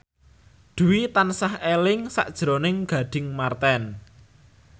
Dwi tansah eling sakjroning Gading Marten